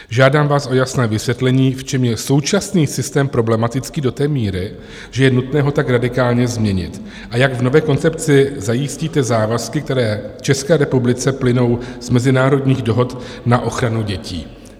Žádám vás o jasné vysvětlení, v čem je současný systém problematický do té míry, že je nutné ho tak radikálně změnit, a jak v nové koncepci zajistíte závazky, které České republice plynou z mezinárodních dohod na ochranu dětí.